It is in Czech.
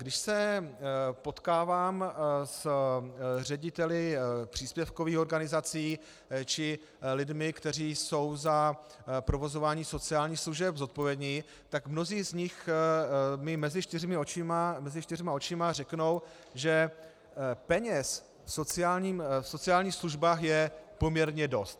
Když se potkávám s řediteli příspěvkových organizací či lidmi, kteří jsou za provozování sociálních služeb zodpovědní, tak mnozí z nich mi mezi čtyřma očima řeknou, že peněz v sociálních službách je poměrně dost.